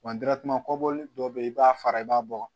Wa kɔbɔli dɔ bɛ yen i b'a fara i b'a bɔ